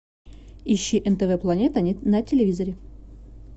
ищи нтв планета на телевизоре